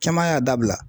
Caman y'a dabila